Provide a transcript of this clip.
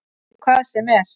Í hvað sem er.